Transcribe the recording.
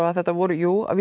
að þetta voru jú